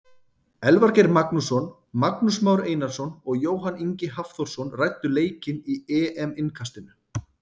Elvar Geir Magnússon, Magnús Már Einarsson og Jóhann Ingi Hafþórsson ræddu leikinn í EM innkastinu.